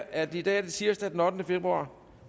at det i dag er tirsdag den ottende februar